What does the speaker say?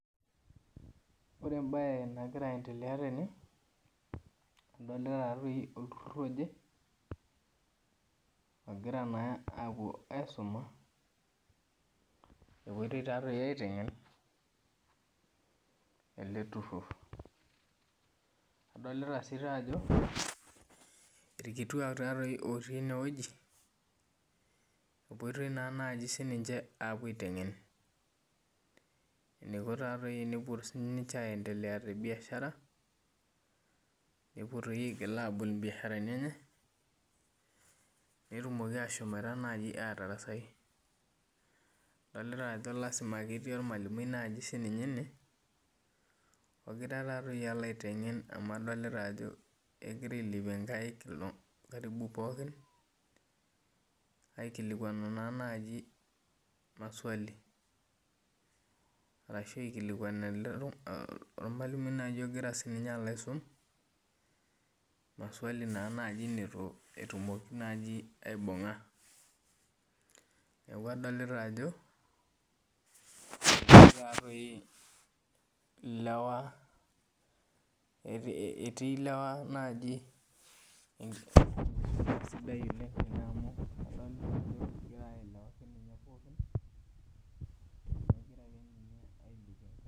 Ore embae nagira aendelea tene adolita olturur oje ogira apuo aisuma egirai apuo aotengen eleturur adolta ajo irkituat otii enewueji epoitoi nai sininche apuo aitengen eniko tenepuo aendelea tebiashara netum ashom atabol biasharani enye netum ashomo atarasai adolta ajo lasima ketii ormalimui ene alu adolta ajo egira ailepie nkaik pooki aikilikwanu maswali arashu aikilikuan ormalimui ogira aolo aisum maswali etumoki nai aibunga neaku adolta ajo etii lewa etii lewa najibewwoi sidai oleng amu .